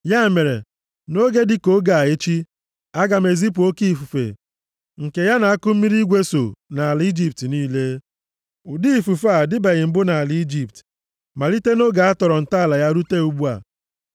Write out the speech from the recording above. Ya mere, nʼoge dịka oge a echi, aga m ezipu oke ifufe nke ya na akụmmiri igwe so nʼala Ijipt niile. Ụdị ifufe a adịbeghị mbụ nʼala Ijipt, malite nʼoge a tọrọ ntọala ya rute ugbu a.